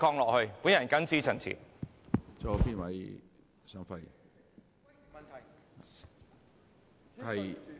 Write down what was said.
我謹此陳辭。